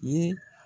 Ye